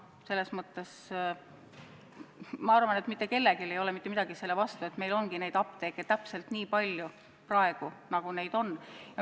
Selles mõttes ma arvan, et mitte kellelgi ei ole mitte midagi selle vastu, et meil ongi neid apteeke täpselt nii palju, nagu neid on.